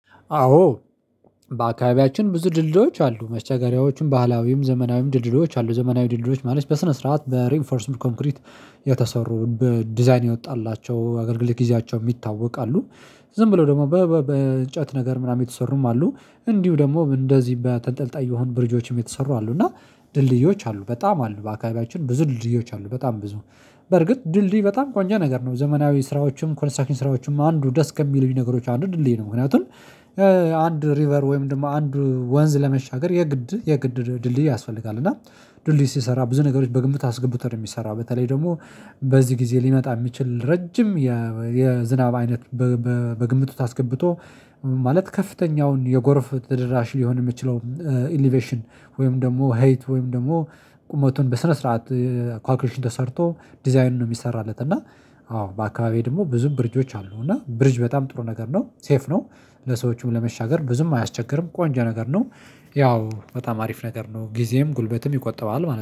አዎ። በአካባቢያችን ብዙ ድልድሎች አሉ መስተጋሪያዎቹን ባህላዊም ዘመናዊም ድልድሎች አሉ ዘመናዊ ድልድሎች ማለት በስነ ስርዓት በሬንፎርስ ሙድ ኮንክሪት የተሰሩ በዲዛይን የወጣላቸው አገልግል ጊዜያቸው የሚታወቃሉ። ዝም ብለው ደግሞ በእንጨት ነገር ምናምን የተሰሩም አሉ እንዲሁ ደግሞ እንደዚህ በተንጠልጣይ የሆኑ ብርጆችም የተሰሩ አሉ። እና ድልድዮች አሉ በጣም አሉ በአካባቢያችን ብዙ ድልድዮች አሉ በጣም ብዙ። በርግጥ ድልድይ በጣም ቆንጆ ነገር ነው። ዘመናዊ ስራዎችም ኮንስታኪንግ ስራዎችም አንዱ ደስ ከሚሉኝ ነገሮች አንዱ ድልድይ ነው። ምክንያቱም አንድ ሪቨር ወይም ደግሞ አንድ ወንዝ ለመሻገር የግድ የግድ ድልድይ ያስፈልጋል። እና ድልድይ ሲሰራ ብዙ ነገሮች በግምት አስገብቶ ነው። የሚሰራ በተለይ ደግሞ በዚህ ጊዜ ሊመጣ የሚችል ረጅም የዝናብ አይነት በግምት ውስጥ አስገብቶ ማለት ከፍተኛውን የጎርፍ ተደራሽ ሊሆን የሚችለው ኢሊቬሽን ወይም ደግሞ ሄይት ወይም ደግሞ ቁመቱን በስነ ስርዓት ካልኩሌሽን ተሰርቶ ዲዛይን ነው የሚሰራለት። እና አዎ በአካባቢዬ ደግሞ ብዙ ብርጆች አሉ እና ብርጅ በጣም ጥሩ ነገር ነው ሴፍ ነው። ለሰዎቹም ለመሻገር ብዙም አያስቸግርም ቆንጆ ነገር ነው። ያው በጣም አሪፍ ነገር ነው ጊዜም ጉልበትም ይቆጠባል ማለት ነው